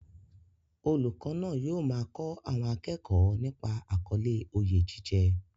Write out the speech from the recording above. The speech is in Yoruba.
Olùkọ́ náà yóò máa kọ́ àwọn akẹ́kọ̀ọ́ nípa àkọlé "Oyè jíjẹ"